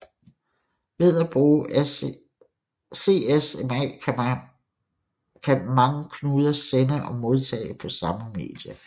Ved at bruge CSMA kan mange knuder sende og modtage på samme medie